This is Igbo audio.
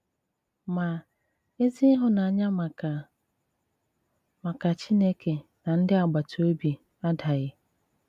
Mà, èzí ìhụ̀nànyà màkà màkà Chìnèké na ndị̀ àgbàtà òbí àdàghị̀.